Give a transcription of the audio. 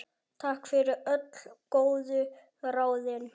Takk fyrir öll góðu ráðin.